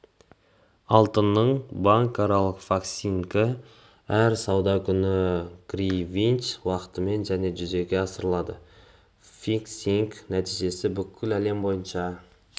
алтынның банкаралық фиксингі әр сауда күні гринвич уақытымен және жүзеге асырылады фиксингтің нәтижесі бүкіл әлем бойынша